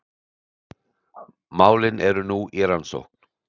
Málin eru nú í rannsókn